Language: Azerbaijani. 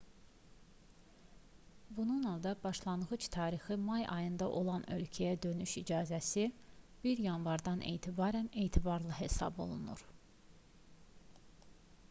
bununla da başlanğıc tarixi may ayında olan ölkəyə dönüş icazəsi 1 yanvardan etibarən etibarlı hesab olunur